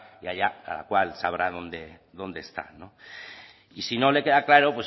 y allá cada cual sabrá dónde está no y si no le queda claro